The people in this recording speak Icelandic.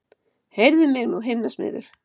Heyrðu mig nú himnasmiður!